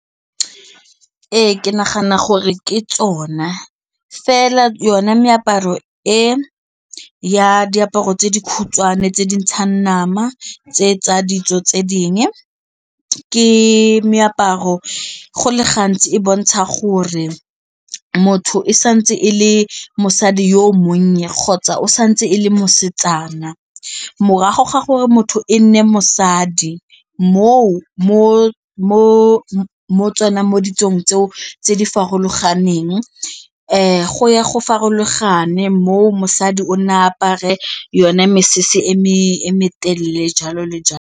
Ee ke nagana gore ke tsona fela yone meaparo e ya diaparo tse dikhutshwane tse dintshang nama tse tsa ditso tse ke di meaparo go le gantsi e bontsha gore motho e santse e le mosadi yo o monnye kgotsa o santse e le mosetsana morago ga gore motho e nne mosadi moo mo tsona mo ditsong tseo tse di farologaneng go ya go farologane moo mosadi o na apare yone mesese e me telele jalo le jalo.